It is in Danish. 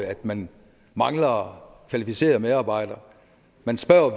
at man mangler kvalificerede medarbejdere man spørger